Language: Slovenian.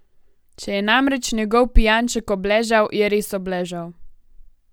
Če je namreč njegov pijanček obležal, je res obležal.